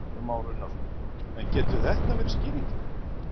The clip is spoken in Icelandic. Kristján Már Unnarsson: En getur þetta verið skýringin?